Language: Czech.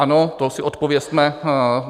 Ano, to si odpovězme.